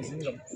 Naamu